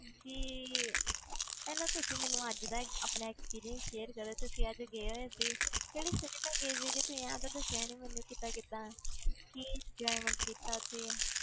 ਜੀ ਪਹਿਲਾਂ ਤੁਸੀਂ ਮੈਨੂੰ ਅੱਜ ਦਾ ਆਪਣਾ experience share ਕਰੋ ਤੁਸੀਂ ਅੱਜ ਗਏ ਹੋਏ ਸੀ ਕਿਹੜੇ ਸਿਨੇਮੇ ਗਏ ਸੀਗੇ ਤੁਸੀਂ ਇਹ ਤੇ ਦੱਸਿਆ ਨੀ ਮੈਨੂੰ ਕਿੱਦਾਂ ਕਿੱਦਾਂ ਕੀ enjoyment ਕੀਤਾ ਉੱਥੇ,